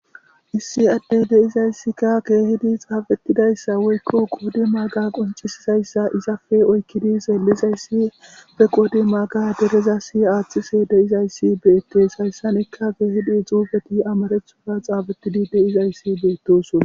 issi addey deizayssika keehidi xaafettidayssa woykko qodi maaga qoncisizayssa izafe oykkidi zeellizayssi fe qoodi maaga dereza si aaththise deizayssi beettes hayssanekka keehidi xuufeti amarethofa xaafettidi deizayssi beettoson